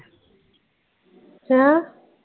ਹੈਂ?